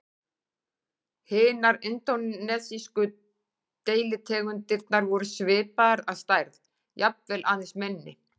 Hinar indónesísku deilitegundirnar voru svipaðar að stærð, jafnvel aðeins minni.